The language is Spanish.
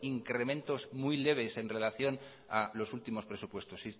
incrementos muy leves en relación a los últimos presupuestos si